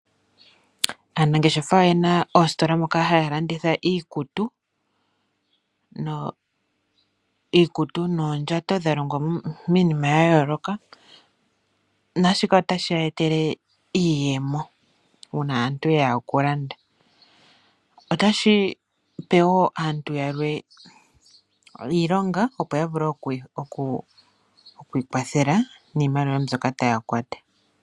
Aanangeshefa oyena oosikola moka haya landitha iikutu noondjato dhalongwa miinima yayooloka naashika otashi ya etele iiyemo uuna aantu yeya okulanda. Otashi pe wo aantu yamwe iilonga opo yavule okwiikwatheka niimaliwa mbyoka.